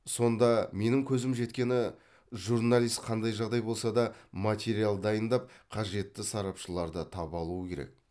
сонда менің көзім жеткені журналист қандай жағдай болса да материал дайындап қажетті сарапшыларды таба алуы керек